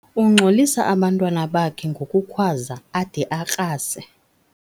Ungxolisa abantwana bakhe ngokukhwaza ade akrase.